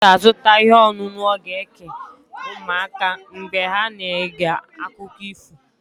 Nna m ga-azụta ihe ọṅụṅụ ọ ga-eke ụmụaka mgbe ha na-ege akụkọ ifo.